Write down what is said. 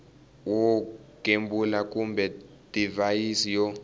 wo gembula kumbe divhayisi yo